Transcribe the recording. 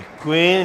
Děkuji.